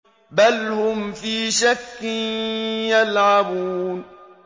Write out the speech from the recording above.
بَلْ هُمْ فِي شَكٍّ يَلْعَبُونَ